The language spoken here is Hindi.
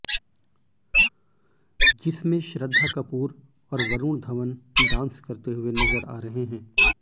जिसमें श्रद्धा कपूर और वरूण धवन डांस करते हुए नजर आ रहे हैं